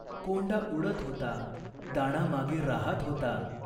कोंडा उडत होता. दाणा मागे राहात होता.